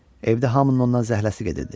Evdə hamının ondan zəhləsi gedirdi.